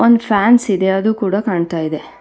One fans ಇದೆ ಅದು ಕೂಡ ಕಾಣ್ತಾ ಇದೆ.